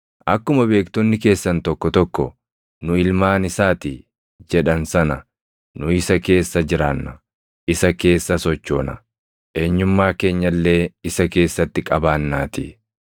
Akkuma beektonni keessan tokko tokko, ‘Nu ilmaan isaa ti’ jedhan sana ‘Nu isa keessa jiraanna; isa keessa sochoona; eenyummaa keenya illee isa keessatti qabaannaatii.’